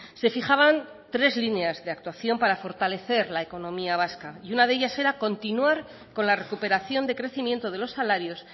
se fijaban tres líneas de actuación para fortalecer la economía vasca y una de ellas era continuar con la recuperación de crecimiento de los salarios